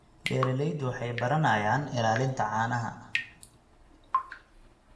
Beeraleydu waxay baranayaan ilaalinta caanaha.